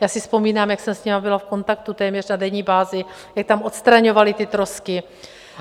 Já si vzpomínám, jak jsem s nimi byla v kontaktu téměř na denní bázi, jak tam odstraňovali ty trosky.